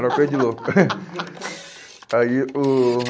Era coisa de louco. Aí o